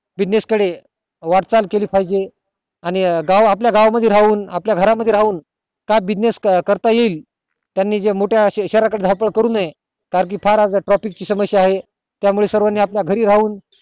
business वाट चाल केली पाहिजे आणि गाव आपल्या गावा मध्ये राहून आपल्या घरा मध्ये राहून business करता येईल त्यानी जास्त मोठया शहरा कडे धावपळ करू नये कारण कि profit ची समस्या आहे त्या मुळे सगळयांनी आपल्या घरी राहून